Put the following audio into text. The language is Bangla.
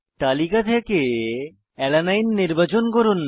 তালিকা থেকে অ্যালানিন নির্বাচন করুন